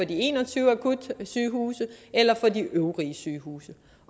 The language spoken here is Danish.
de en og tyve akutsygehuse eller for de øvrige sygehuse